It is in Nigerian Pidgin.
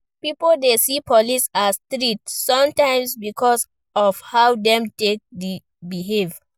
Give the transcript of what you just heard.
Pipo dey see police as threat sometimes because of how dem take dey behave